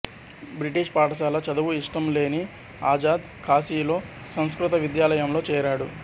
British పాఠశాల చదువు ఇష్టంలేని అజాద్ కాశీలో సంస్కృత విద్యాలయంలో చేరాడు